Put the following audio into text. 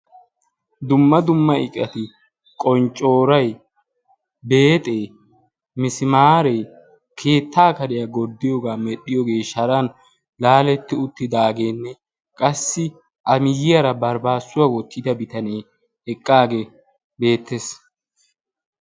Dumma dumma iqayi qonccooroyi, beexxee, misimaare kerttaa kariya gorddiyoge sharan laaletti uttidaageenne qassi a miyyiyara baribaassuwa wottida bitanee eqqaagee beettes.